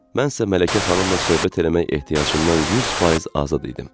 Mən isə Mələkə xanımla söhbət eləmək ehtiyacından 100% azad idim.